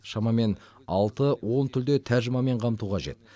шамамен алты он тілде тәржімамен қамту қажет